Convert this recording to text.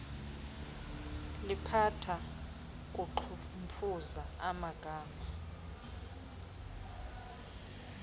liphatha kuqhumfuza amagada